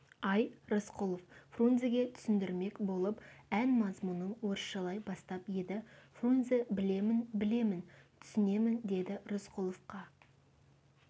ай рысқұлов фрунзеге түсіндірмек болып ән мазмұнын орысшалай бастап еді фрунзе білемін білемін түсінемін деді рысқұловқа